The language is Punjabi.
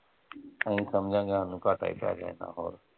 ਅਸੀਂ ਸਮਝਾਂਗੇ ਸਾਨੂੰ ਘਾਟਾ ਹੀ ਪੈ ਗਿਆ ਐਨਾ ਹੋਰ।